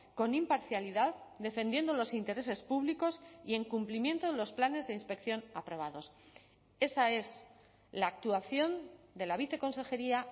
con imparcialidad defendiendo los intereses públicos y en cumplimiento de los planes de inspección aprobados esa es la actuación de la viceconsejería